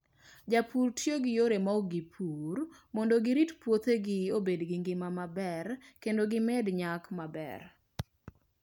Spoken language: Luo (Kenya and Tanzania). Jopur tiyo gi yore mag pur maok gipur mondo girit puothgi obed gi ngima maber kendo gimed nyak maber.